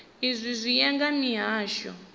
izwi zwi ya nga mihasho